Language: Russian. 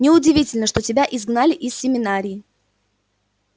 неудивительно что тебя изгнали из семинарии